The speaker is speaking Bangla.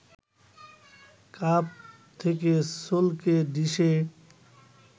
কাপ থেকে ছলকে ডিশে